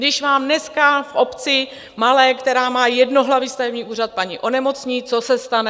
Když vám dneska v malé obci, která má jednohlavý stavební úřad, paní onemocní, co se stane?